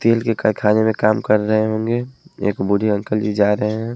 तेल के करखाने में काम कर रहे होंगे एक बुढ़े अंकल जी जा रहे हैं।